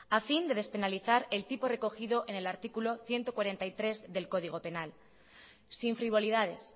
a fin de despenalizar el tipo recogido en el artículo ciento cuarenta y tres del código penal sin frivolidades